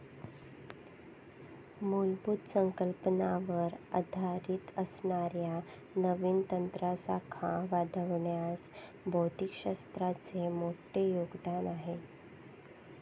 मुलभूत संकल्पनावर आधारित असणाऱ्या नवीन तंत्रासाखा वाढवण्यास भौतिकशास्त्राचे मोठे योगदान आहे.